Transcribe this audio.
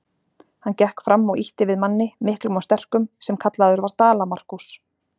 Hann gekk fram og ýtti við manni, miklum og sterkum, sem kallaður var Dala-Markús.